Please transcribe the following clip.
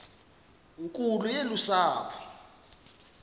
nkulu yolu sapho